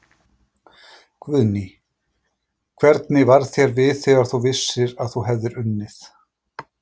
Guðný: Hvernig varð þér við þegar þú vissir að þú hefði unnið?